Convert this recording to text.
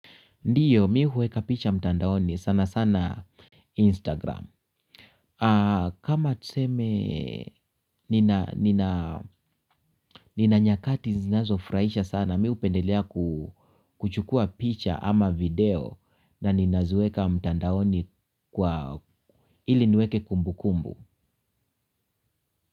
Ndiyo mimi huweka picha mtandaoni sana sana Instagram. Kama tuseme nina nyakati zinazofuraisha sana mimi hupendelea kuchukua picha ama video na ninaziweka mtandaoni kwa ili niweke kumbukumbu.